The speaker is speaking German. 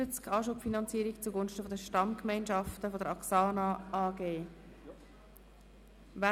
«Anschubfinanzierung zugunsten der Stammgemeinschaft der axsana AG [